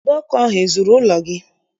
Ụdọ ọkụ ahụ ezuru ụlọ gị?